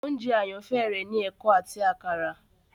oúnjẹ àyànfẹ rẹ ni eko áti àkàrà.